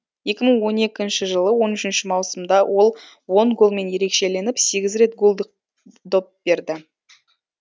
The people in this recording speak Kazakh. екі мың он екінші жылы он үшінші маусымда ол он голмен ерекшеленіп сегіз рет голдық доп берді